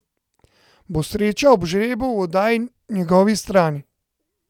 Bo sreča ob žrebu v oddaji njegovi strani?